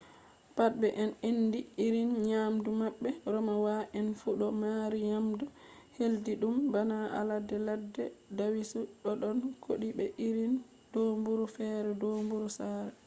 pat be en andi irin nyamdu mabbe romawa en fu do mari nyamdu hildidum bana alade ladde dawisu dodon kodi be irin domburu fere domburu sare